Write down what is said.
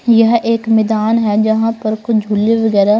यहाँ एक मैदान है जहां पर कुछ झुल्ले वगैरह--